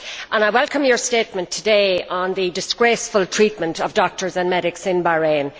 I welcome her statement today on the disgraceful treatment of doctors and medics in Bahrain.